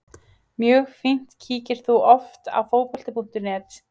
Mjög fínt Kíkir þú oft á Fótbolti.net?